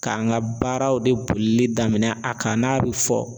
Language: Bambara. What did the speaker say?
K'an ka baaraw de bolili daminɛ a kan n'a bɛ fɔ